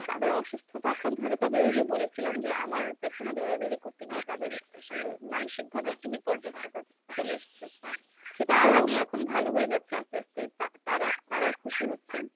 তাদের অসুস্থতা আক্রান্ত হয় নি তবে ওই যে বলেছিলাম যে আমার পেছনে দৌড়াদৌড়ি করতে গিয়ে তাদের আসলে মানসিক ভাবে একটু বিপর্যস্ততা চলে এসছে। সেটা আমি এখন ভালো হয়ে যাচ্ছি আস্তে আস্তে তা তা~ তাড়াও খুশি হচ্ছেন।